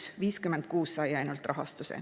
Ainult 56 sai rahastuse.